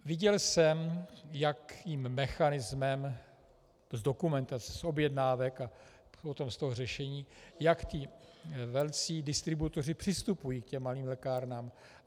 Viděl jsem, jakým mechanismem - z dokumentací, z objednávek a potom z toho řešení, jak ti velcí distributoři přistupují k těm malým lékárnám.